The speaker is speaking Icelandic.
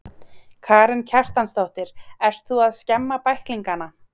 Karen Kjartansdóttir: Ert þú að skemma bæklingana?